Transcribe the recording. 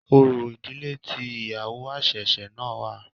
Orò ìdílé tí ìyàwó àṣẹ̀ṣẹ̀ náà wà.